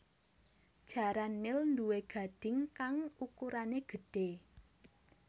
Jaran nil nduwé gadhing kang ukurané gedhé